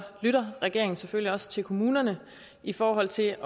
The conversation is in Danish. lytter regeringen selvfølgelig også til kommunerne i forhold til